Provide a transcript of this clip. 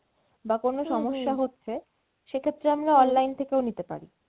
বা কোনো সমস্যা হচ্ছে সেক্ষেত্রে আমরা online থেকেও নিতে পারি।